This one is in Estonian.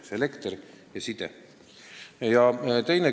Pean silmas elektri- ja sidekaableid.